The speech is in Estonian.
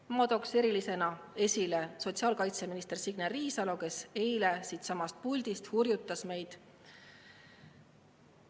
Ma tooksin erilisena esile sotsiaalkaitseminister Signe Riisalo, kes eile siitsamast puldist hurjutas meid.